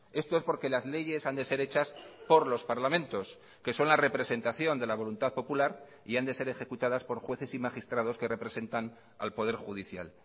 esto es porque las leyes han de ser hechas por los parlamentos que son la representación de la voluntad popular y han de ser ejecutadas por jueces y magistrados que representan al poder judicial